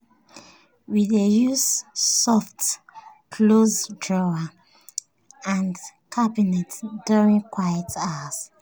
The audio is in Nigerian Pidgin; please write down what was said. we dey use soft-close drawers and cabinets during quiet hours.